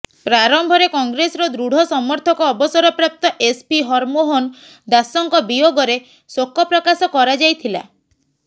ପ୍ରାରମ୍ଭରେ କଂଗ୍ରେସର ଦୃଢ଼ ସମର୍ଥକ ଅବସରପ୍ରାପ୍ତ ଏସପି ହରମୋହନ ଦାଶଙ୍କ ବିୟୋଗରେ ଶୋକ ପ୍ରକାଶ କରାଯାଇଥିଲା